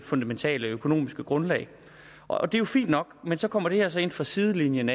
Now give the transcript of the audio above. fundamentale økonomiske grundlag og det er jo fint nok men så kommer det her så ind fra sidelinjen